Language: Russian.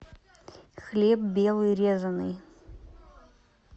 хлеб белый резанный